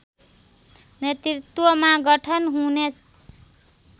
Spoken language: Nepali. नेतृत्वमा गठन हुने